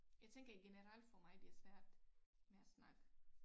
Jeg tænker i generelt for mig det er svært med at snakke